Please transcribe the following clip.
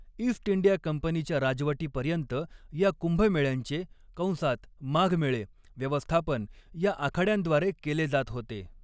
East India कंपनीच्या राजवटीपर्यंत, या कुंभमेळ्यांचे कंसात माघमेळे व्यवस्थापन या आखाड्यांद्वारे केले जात होते.